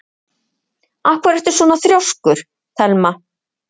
Af hverju ertu svona þrjóskur, Thelma?